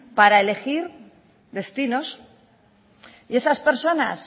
para elegir destinos y esas personas